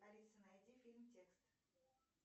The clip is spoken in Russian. алиса найди фильм текст